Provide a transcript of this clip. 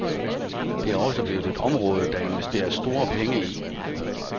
Det er også blevet et område, der investeres store penge i.